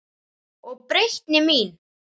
Og breytni mín.